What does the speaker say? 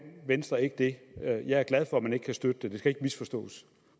venstre ikke det jeg er glad for at man ikke kan støtte det det skal ikke misforstås